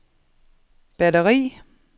batteri